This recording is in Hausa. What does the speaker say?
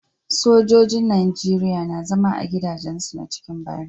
Sojojin nigeria na zama a gida jen su na cikin bariki